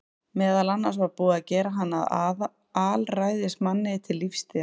Meðal annars var búið að gera hann að alræðismanni til lífstíðar.